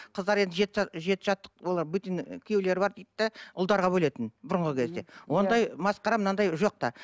қыздар енді жет жаттық олар бөтен күйеулері бар ұлдарға бөлетін бұрынғы кезде ондай масқара мынандай жоқ та